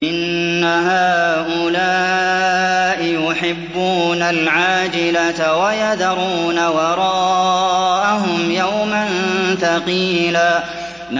إِنَّ هَٰؤُلَاءِ يُحِبُّونَ الْعَاجِلَةَ وَيَذَرُونَ وَرَاءَهُمْ يَوْمًا ثَقِيلًا